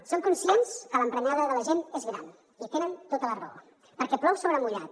som conscients que l’emprenyada de la gent és gran i tenen tota la raó perquè plou sobre mullat